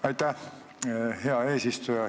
Aitäh, hea eesistuja!